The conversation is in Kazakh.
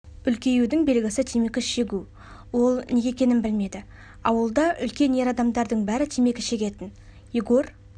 есеюдің белгісі темекі шегу ол неге екенін білмеді ауылда үлкен ер адамдардың бәрі темекі шегетін егор